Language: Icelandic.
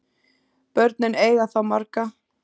Börnin eiga þá marga